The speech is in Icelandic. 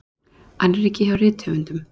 Annríki hjá rithöfundum